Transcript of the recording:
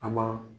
A ma